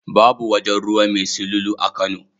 Babu wajen ruwa mai silulu a Kano.